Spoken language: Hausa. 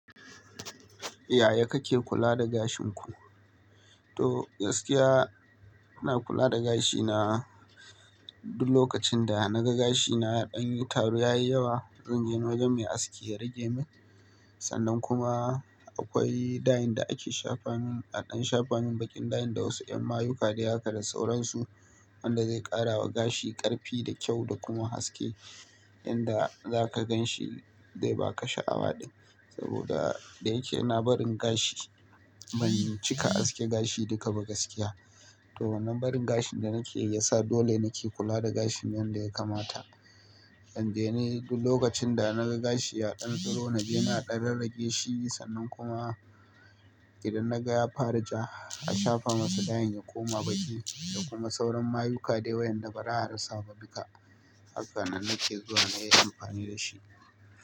Yaya kake kula da gashin ku? To gaskiya, ina kula da gashina duk lokacin da na ga gashina ya ɗan yi taro yayi yawa, zan je wajen mai aski ya rage min. Sannan kuma akwai ɗayin da ake shafamin, a ɗan shafamin baƙin ɗayin da wasu ƴan mayuka dai haka da sauransu wanda zai ƙarawa gashi ƙarfi da kyau da kuma haske. Inda za ka gan shi zai ba ka sha'awa ɗin. Saboda da yake ina barin gashi, ban cika aske gashi duka ba gaskiya. To wannan barin gashin da nake yi ya sa dole nake kula da gashin yanda ya kamata. Dan jiya ne duk lokacin da na ga gashi ya ɗan tsiro na je na ɗan rage shi sannan kuma idan na ga ya fara ja, a shafa masa dayin ya koma baƙi da kuma sauran mayuka dai wa'yanda baza a rasa ba duka. Haka nan nake zuwa nayi amfani da shi.